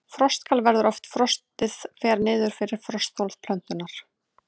Frostkal verður ef frostið fer niður fyrir frostþol plöntunnar.